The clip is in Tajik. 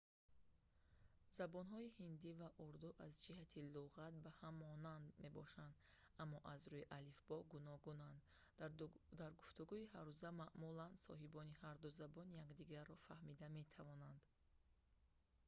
забонҳои ҳиндӣ ва урду аз ҷиҳати луғат ба ҳам монанд мебошанд аммо аз рӯи алифбо гуногунанд дар гуфтугӯҳои ҳаррӯза маъмулан соҳибони ҳарду забон якдигарро фаҳмида метавонанд